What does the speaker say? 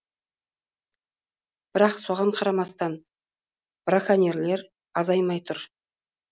бірақ соған қарамастан браконьерлер азаймай тұр